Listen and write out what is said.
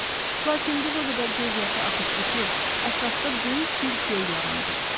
Lakin qız o qədər göz yaşı axıtdı ki, ətrafda böyük bir göl yarandı.